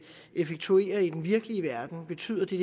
effektuere i den virkelig verden betyder det